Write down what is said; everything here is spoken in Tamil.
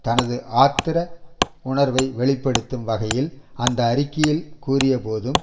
தனது ஆத்திர உணர்வை வெளி படுத்தும் வகையில் அந்த அறிக்கையில் கூறியபோதும்